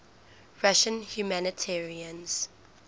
russian humanitarians